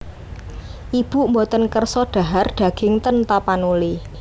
Ibu mboten kersa dhahar daging ten Tapanuli